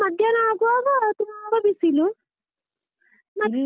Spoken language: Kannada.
ಮಧ್ಯಾಹ್ನ ಆಗುವಾಗ ತುಂಬ ಬಿಸಿಲು ಮತ್ತೆ.